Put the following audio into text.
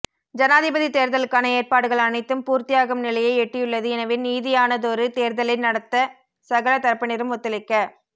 ஜனாதிபதி தேர்தலுக்கான ஏற்பாடுகள் அனைத்தும் பூர்த்தியாகும் நிலையை எட்டியுள்ளது எனவே நீதியானதொரு தேர்தலை நடாத்த சகல தரப்பினரும் ஒத்துழைக்க